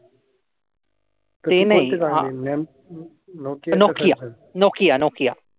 Nokia. Nokia.